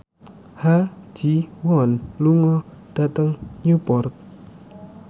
Ha Ji Won lunga dhateng Newport